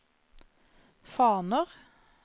faner